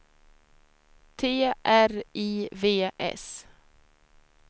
T R I V S